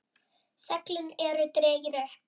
Seglin eru dregin upp.